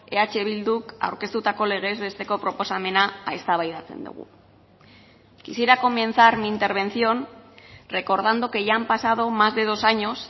eh bilduk aurkeztutako legez besteko proposamena eztabaidatzen dugu quisiera comenzar mi intervención recordando que ya han pasado más de dos años